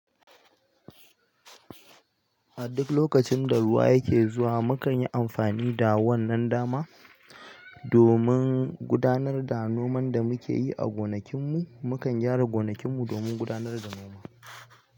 A duk lokacin da ruwa yake zuwa, mu kan yi amfani da wannan dama domin gudanar da noman da muke yi a gonakin mu. Mu kan gyara gonakin mu domin gudanar da noma.